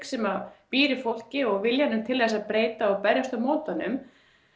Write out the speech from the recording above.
sem býr í fólki viljanum til þess að breyta og berjast á móti honum